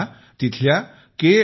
हे तिथल्या के